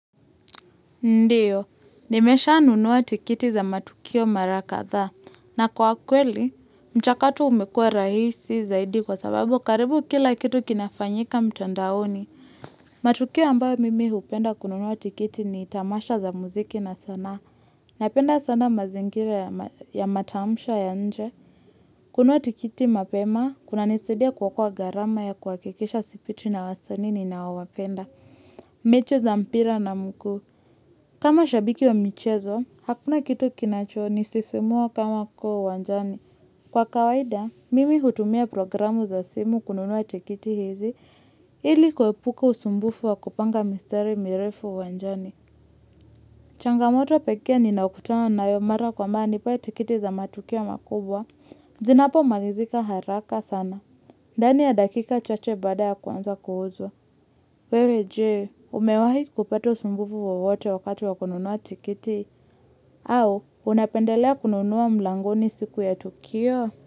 Ndiyo, nimeshanunua tikiti za matukio mara kadhaa, na kwa kweli, mchakato umekua rahisi zaidi kwa sababu karibu kila kitu kinafanyika mtandaoni. Matukio ambayo mimi hupenda kununua tikiti ni tamasha za muziki na sana. Napenda sana mazingira ya matamasha ya nje. Kununua tikiti mapema, kunanisaidia kuokoa gharama ya kuhakikisha sipitwi na wasani ninaowapenda. Mechi za mpira na mguu. Kama shabiki wa michezo, hakuna kitu kinacho nisisimua kama kuwa uwanjani. Kwa kawaida, mimi hutumia programu za simu kununua tikiti hizi, ili kuepuka usumbufu wa kupanga misteri mirefu uanjani. Changamoto pekee ninaokutana nayo mara kwa mara ni pale tikiti za matukio makubwa, zinapomalizika haraka sana. Ndani ya dakika chache baada ya kwanza kuuzwa. Wewe je, umewahi kupata usumbufu wowote wakati wakununua tikiti? Au, unapendelea kununua mlangoni siku ya tukio?